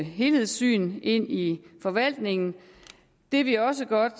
helhedssyn ind i forvaltningen det vi også godt